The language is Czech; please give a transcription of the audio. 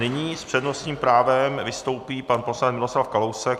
Nyní s přednostním právem vystoupí pan poslanec Miroslav Kalousek.